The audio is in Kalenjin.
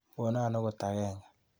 Kono akot agenge.